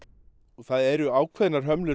það eru ákveðnar hömlur